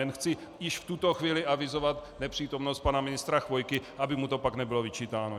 Jen chci již v tuto chvíli avizovat nepřítomnost pana ministra Chvojky, aby mu to pak nebylo vyčítáno.